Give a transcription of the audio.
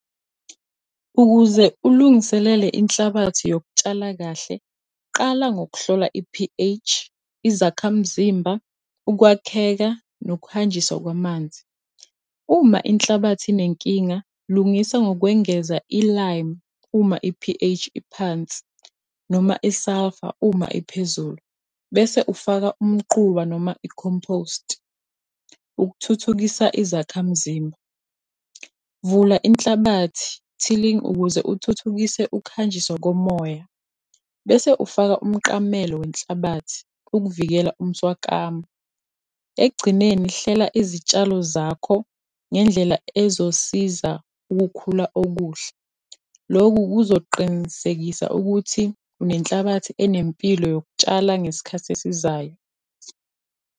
Ukuze ulungiselele inhlabathi yokutshala kahle, qala ngokuhlola i-P_H, izakhamzimba, ukwakheka, nokuhanjiswa kwamanzi. Uma inhlabathi inenkinga, lungisa ngokwengeza i-lime, uma i-P_H iphansi, noma i-sulphur uma iphezulu. Bese ufaka umquba noma i-compost, ukuthuthukisa izakhamzimba. Vula inhlabathi, tilling, ukuze uthuthukise ukuhanjiswa komoya. Bese ufaka umqamelo wenhlabathi, ukuvikela umswakamo. Ekugcineni hlela izitshalo zakho ngendlela ezosiza ukukhula okuhle. Lokhu kuzoqinisekisa ukuthi nenhlabathi enempilo yokutshala ngesikhathi esizayo.